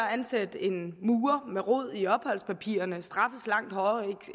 at ansætte en murer med rod i opholdspapirerne straffes langt hårdere